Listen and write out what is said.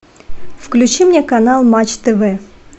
включи мне канал матч тв